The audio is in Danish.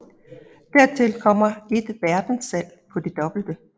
Dertil kommer et verdens salg på det dobbelte